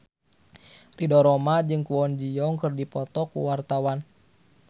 Ridho Roma jeung Kwon Ji Yong keur dipoto ku wartawan